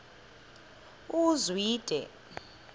uzwide